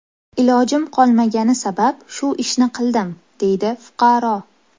Ilojim qolmagani sabab shu ishni qildim”, deydi fuqaro.